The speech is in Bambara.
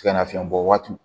Sɛgɛnnafiɲɛbɔ waati